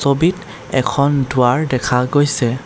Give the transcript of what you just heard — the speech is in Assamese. ছবিত এখন দুৱাৰ দেখা গৈছে।